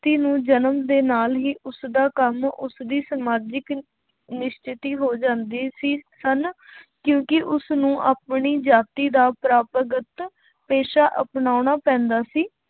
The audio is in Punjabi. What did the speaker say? ਨੂੰ ਜਨਮ ਦੇ ਨਾਲ ਹੀ ਉਸਦਾ ਕੰਮ ਉਸਦੀ ਸਮਾਜਿਕ ਨਿਸ਼ਚਤੀ ਹੋ ਜਾਂਦੀ ਸੀ ਹਨਾ ਕਿਉਂਕਿ ਉਸਨੂੰ ਆਪਣੀ ਜਾਤੀ ਦਾ ਪਰੰਪਾਂਗਤ ਪੇਸ਼ਾ ਅਪਨਾਉਣਾ ਪੈਂਦਾ ਸੀ,